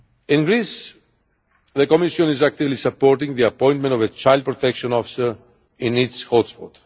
In Greece, the Commission is actively supporting the appointment of a child protection officer in each hotspot.